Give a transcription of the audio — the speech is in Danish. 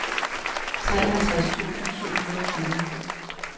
treoghalvtreds tusind syv hundrede og fire